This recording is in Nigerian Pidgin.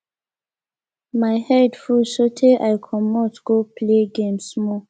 my head full so tey i comot go play game small